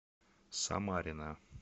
самарина